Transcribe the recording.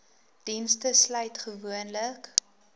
dienste sluit gewoonlik